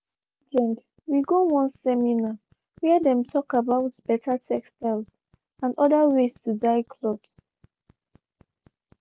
last weekend we go one seminar where them talk about better textiles and other ways to dye clothes.